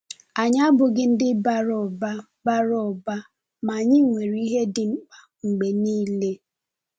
Anyị abụghị ndị bara ụba, bara ụba, ma anyị nwere ihe dị mkpa mgbe niile.